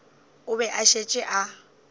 o be a šetše a